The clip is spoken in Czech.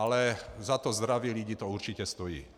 Ale za to zdraví lidí to určitě stojí.